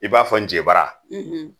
I b'a fɔ n ze bara